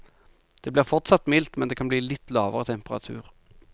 Det blir fortsatt mildt, men det kan bli litt lavere temperatur.